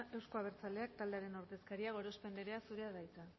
euzko abertzaleak taldearen ordezkaria gorospe andrea zurea da hitza